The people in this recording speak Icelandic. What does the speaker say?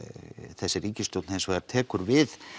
þessi ríkisstjórn tekur við